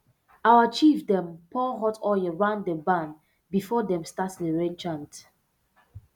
our chief dem pour hot oil round the barn before dem start the rain chant